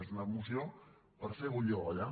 és una moció per fer bullir l’olla